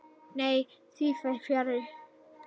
Nei, því fer fjarri.